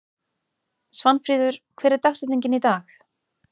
Svanfríður, hver er dagsetningin í dag?